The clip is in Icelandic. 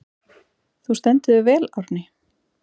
Þú stendur þig vel, Árný!